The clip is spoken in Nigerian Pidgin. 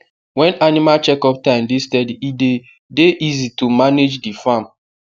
when animal chekup time dey steady e dey dey easy to manage the farm